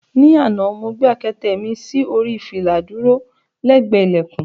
Ní àná, mo gbé àkẹtẹ̀ mi sí orí fìlà dúró lẹ́gbẹ̀ẹ́ ilẹ̀kùn.